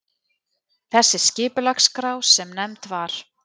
Þessi skipulagsskrá, sem nefnd var